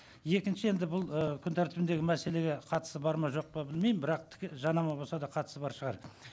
екінші енді бұл ы күн тәртібіндегі мәселеге қатысы бар ма жоқ па білмеймін бірақ жанама болса да қатысы бар шығар